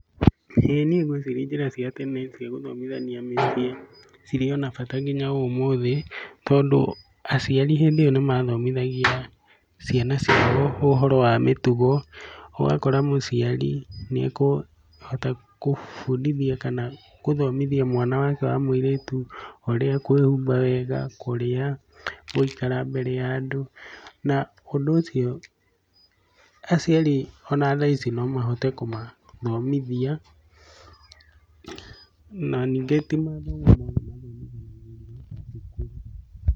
ĩĩ niĩ ngwĩciria njĩra cia tene cia gũthomithania mĩciĩ cirĩ ona bata nginya ũmũthĩ, tondũ aciari hĩndĩ ĩyo nĩ mathomithagia ciana ciao ũhoro wa mitugo. Ũgakora mũciari nĩ ekũhota gũbundithia kana gũthomithia mwana wake wa mũirĩtu ũrĩa ekũĩhumba wega, kũrĩa, gũikara mbere ya andũ. Na ũndũ ũcio aciari ona thaa ici no mahote kũmathomithia. Na ningĩ ti mathomo mothe mathomithanagĩrio thukuru.